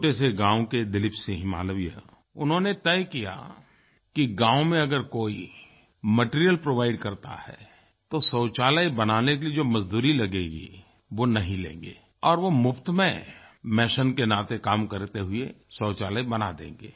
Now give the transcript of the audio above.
छोटे से गाँव के दिलीप सिंह मालविया उन्होंने तय किया कि गाँव में अगर कोई मटीरियल प्रोवाइड करता है तो शौचालय बनाने की जो मज़दूरी लगेगी वो नहीं लेंगे और वो मुफ़्त में मेसों के नाते काम करते हुए शौचालय बना देंगे